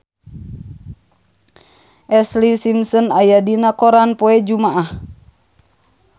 Ashlee Simpson aya dina koran poe Jumaah